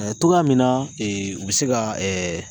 cogoya min na u bɛ se ka